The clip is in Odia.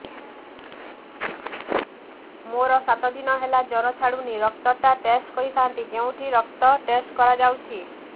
ମୋରୋ ସାତ ଦିନ ହେଲା ଜ୍ଵର ଛାଡୁନାହିଁ ରକ୍ତ ଟା ଟେଷ୍ଟ କରିଥାନ୍ତି କେଉଁଠି ରକ୍ତ ଟେଷ୍ଟ କରା ଯାଉଛି